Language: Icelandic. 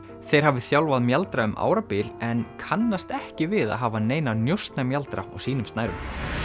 þeir hafi þjálfað mjaldra um árabil en kannast ekki við að hafa neina á sínum snærum